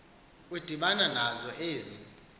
udibana nazo ezi